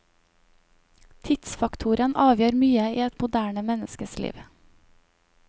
Tidsfaktoren avgjør mye i et moderne menneskes liv.